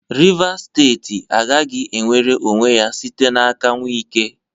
Rivas steeti agaghị enwere onwe ya site n'aka Wike.